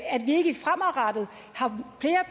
at vi ikke fremadrettet